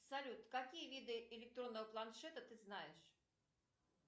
салют какие виды электронного планшета ты знаешь